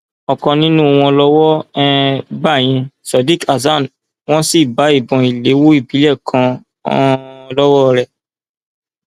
ọkan nínú wọn lọwọ um bá ìyẹn sadiq hasan wọn sì bá ìbọn ìléwọ ìbílẹ kan um lọwọ rẹ